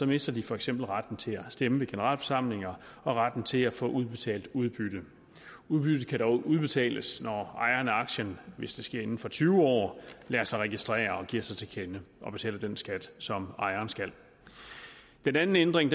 mister de for eksempel retten til at stemme ved generalforsamlinger og retten til at få udbetalt udbytte udbyttet kan dog udbetales når ejeren af aktien hvis det sker inden for tyve år lader sig registrere og giver sig til kende og betaler den skat som ejeren skal den anden ændring